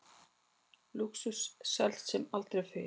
Lúxus selst sem aldrei fyrr